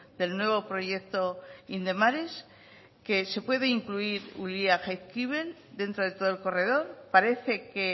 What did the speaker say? del nuevo proyecto indemares que se puede incluir ulia jaizkibel dentro de todo el corredor parece que